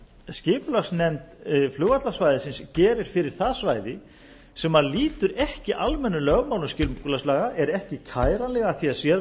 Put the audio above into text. skipulagsnefnd flugvallarsvæðisins gerir fyrir það svæði sem lýtur ekki almennum lögmálum skipulagslaga er ekki kæranleg að því